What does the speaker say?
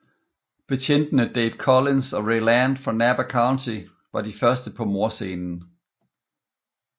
Betjentene Dave Collins og Ray Land fra Napa County var de første på mordscenen